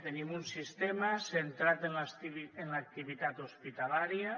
tenim un sistema centrat en l’activitat hospitalària